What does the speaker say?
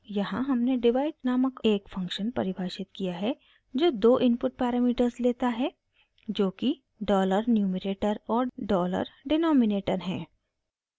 यहाँ हमने divide नामक एक फंक्शन परिभाषित किया है जो दो इनपुट पैरामीटर्स लेता है